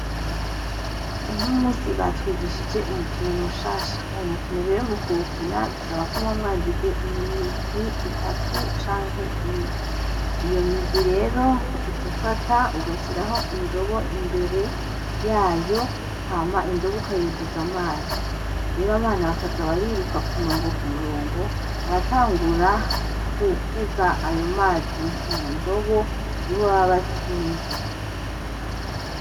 Uno musi batwigishije umukino mushasha uwo mukino rero mukuwukina bisaba ko muba mwagize imirwi itatu canke ine, iyo migwi rero uca ufata ugashiraho indobo imbere yayo hama indobo uka yuzuza amazi rero abana bakaza bariruka kumurongo kumurongo abatangura guheza ayo mazi mu ndobo nibo baba batsinze.